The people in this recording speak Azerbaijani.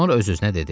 Sonra öz-özünə dedi: